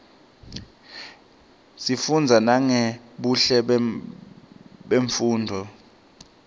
sifunza nangebuhle bemnfundzo